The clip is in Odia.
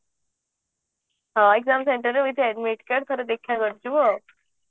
ହଁ exam center ରେ with admit card ଥରେ ଦେଖା କରି ଯିବୁ ଆଉ